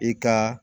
I ka